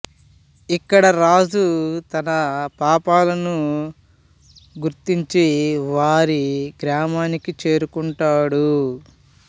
ఇక్కడ రాజు తన పాపాలను గుర్తించి వారి గ్రామానికి చేరుకుంటాడు